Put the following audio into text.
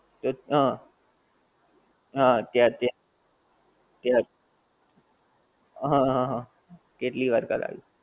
હં હં . હં હં હં કેટલી વાર કરાયવું.